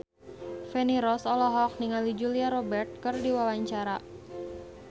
Feni Rose olohok ningali Julia Robert keur diwawancara